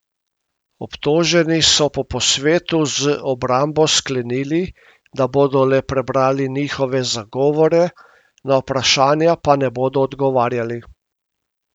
Obtoženi so po posvetu z obrambo sklenili, da bodo le prebrali njihove zagovore, na vprašanja pa ne bodo odgovarjali.